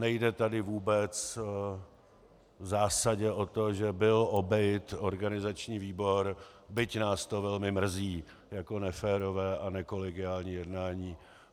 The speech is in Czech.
Nejde tady vůbec v zásadě o to, že byl obejit organizační výbor, byť nás to velmi mrzí jako neférové a nekolegiální jednání.